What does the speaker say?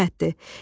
Sifətdir.